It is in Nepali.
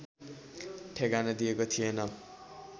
ठेगाना दिएको थिएन